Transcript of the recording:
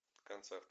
концерт